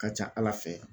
Ka ca ala fɛ